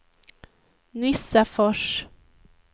Nissafors